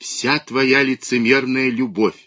вся твоя лицемерная любовь